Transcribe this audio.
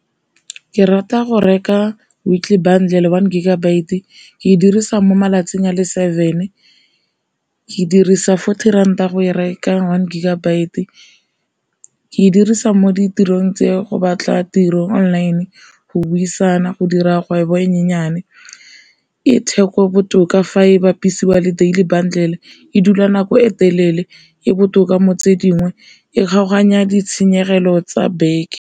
Ke rata go reka weekly bundle one gigabyte e ke e dirisa mo malatsing a le seven, ke dirisa fourty ranta go e reka one gigabyte. Ke dirisa mo ditirong tse go batla tiro online, go buisana go dira kgwebo e nyenyane. E theko botoka fa e bapisiwa le daily bundle e dula nako e telele, e botoka mo tse dingwe e kgaoganya ditshenyegelo tsa beke.